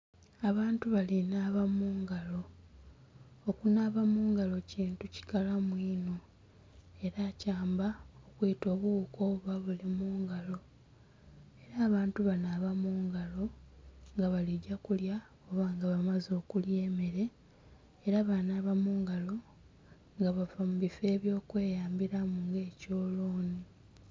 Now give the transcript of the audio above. Abantu balinaba mungalo, okunaba mungalo kintu kikalamu ino era kyamba okwita obuwuuka oba bulimungalo era abantu banaaba mungalo nga baligya kulya oba nga bamaze okulya emere era banaba mungalo nga bava mubiffo ebyekweyambiramu nga ekyoloni.